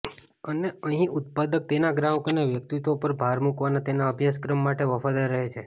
અને અહીં ઉત્પાદક તેના ગ્રાહકોના વ્યક્તિત્વ પર ભાર મૂકવાના તેના અભ્યાસક્રમ માટે વફાદાર રહે છે